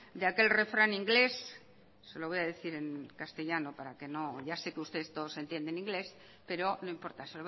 de aquel refrán inglés lo voy a decir en castellano ya sé que ustedes todos entienden inglés pero no importa